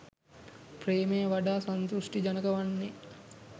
ප්‍රේමය වඩා සංතෘෂ්ටිජනක වන්නේ